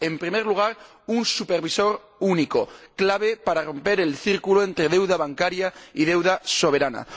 En primer lugar, un supervisor único, clave para romper el círculo entre deuda bancaria y deuda soberana